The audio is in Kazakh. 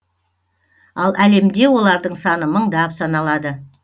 ал әлемде олардың саны мыңдап саналады